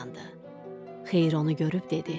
Xeyir onu görüb dedi: